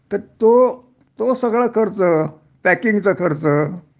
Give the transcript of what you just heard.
तर तो तो सगळा खर्च, पॅकिंगचा खर्च